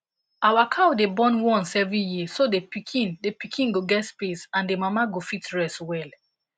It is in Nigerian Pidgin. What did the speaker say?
our cow dey born once every year so the pikin the pikin go get space and the mama go fit rest well